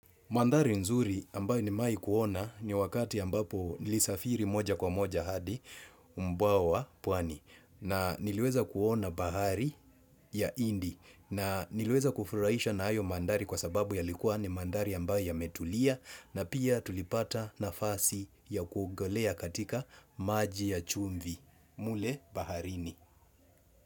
Mandhari nzuri ambayo nimewai kuona ni wakati ambapo nilisafiri moja kwa moja hadi, umbwa wa, puani. Na niliweza kuona bahari ya indi na niliweza kufurahishwa na hayo mandhari kwa sababu yalikua ni mandhari ambayo yametulia na pia tulipata nafasi ya kuogelea katika maji ya chumvi, mle baharini.